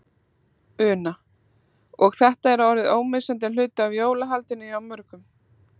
Una: Og er þetta orðið ómissandi hluti af jólahaldinu hjá mörgum?